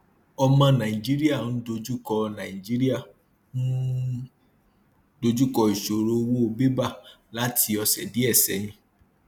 ọmọ nàìjíríà ń dojúkọ nàìjíríà ń dojúkọ ìṣòro owó bébà láti ọsẹ díẹ sẹyìn